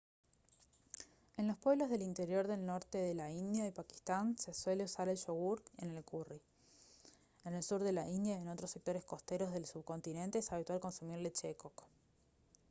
en los pueblos del interior del norte de la india y pakistán se suele usar el yogur en el curry en el sur de la india y en otros sectores costeros del subcontinente es habitual consumir leche de coco